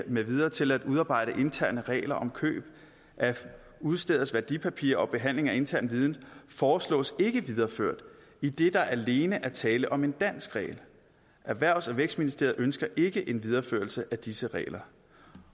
med videre til at udarbejde interne regler om køb af udsteders værdipapirer og behandling af intern viden foreslås ikke videreført idet der alene er tale om en dansk regel erhvervs og vækstministeriet ønsker ikke en videreførelse af disse regler